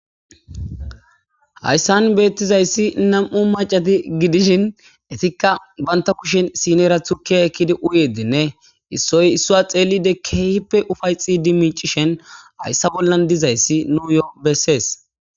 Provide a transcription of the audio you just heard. Hayssan beetizayssi nam7u maccati dishshin etikka bantta kushshen sinera tukkiya ekkidi uyyidinne issoy issuwa xeelidi, keehipe ufayxxidinne miicishin hayssa bollan dizayssi nuuyo besees.